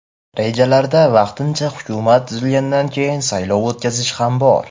Rejalarda vaqtincha hukumat tuzilgandan keyin saylov o‘tkazish ham bor.